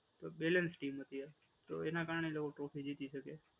તો balance steam હતી એ તો એનાં કારણે એ લોકો ટ્રોફી જીતી શકે છે.